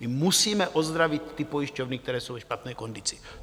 My musíme ozdravit ty pojišťovny, které jsou ve špatné kondici.